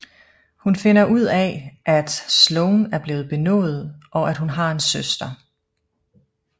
Hun finder ud af at Sloane er blevet benådet og at hun har en søster